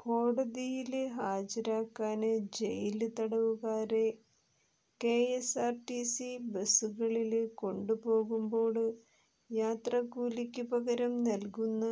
കോടതിയില് ഹാജരാക്കാന് ജയില് തടവുകാരെ കെഎസ്ആര്ടിസി ബസുകളില് കൊണ്ടുപോകുമ്പോള് യാത്രക്കൂലിക്കു പകരം നല്കുന്ന